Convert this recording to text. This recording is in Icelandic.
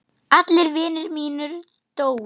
Allir vinir mínir dóu.